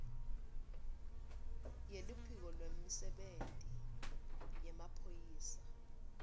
yeluphiko lwemisebenti yemaphoyisa